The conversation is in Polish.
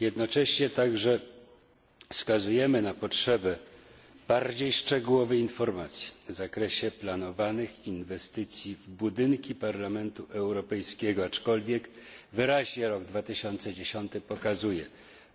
Jednocześnie także wskazujemy na potrzebę bardziej szczegółowej informacji w zakresie planowanych inwestycji w budynki Parlamentu Europejskiego, aczkolwiek wyraźnie rok 2010 pokazuje